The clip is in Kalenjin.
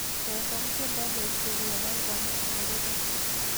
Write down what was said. Chesan tyendo neisubi eng albamit nerube